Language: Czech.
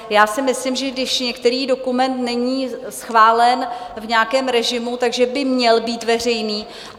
Já si myslím, že když některý dokument není schválen v nějakém režimu, že by měl být veřejný.